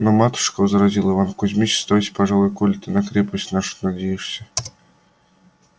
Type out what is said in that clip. ну матушка возразил иван кузмич оставайся пожалуй коли ты на крепость нашу надеешься